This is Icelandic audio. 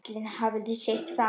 Ellin hafði sitt fram.